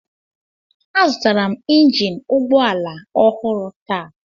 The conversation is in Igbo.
Azụtara m injin ụgbọ ala ọhụrụ taa.